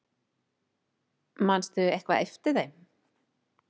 Manstu eitthvað eftir þeim?